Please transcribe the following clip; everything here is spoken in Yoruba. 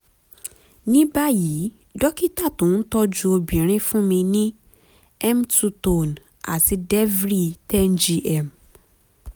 ní báyìí dókítà tó ń tọ́jú obìnrin fún mi ní m2tone àti deviry ten gm